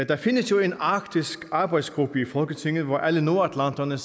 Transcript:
der findes jo en arktisk arbejdsgruppe i folketinget hvor alle nordatlanterne